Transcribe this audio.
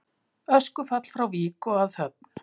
Öskufall frá Vík og að Höfn